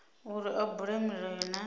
uri a bule milayo na